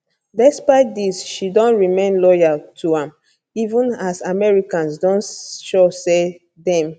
despite dis she don remain loyal to am even as americans don show say dem